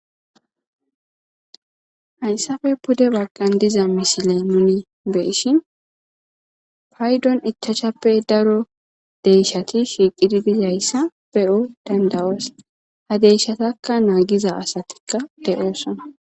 Hayssappe pudde baggan diza misile nuni beyshin paydon ichashshappe daro deyshshati shiiqidi dizayssa beyo dandayos ha deyshshatakka naagiza asatikka de7oosona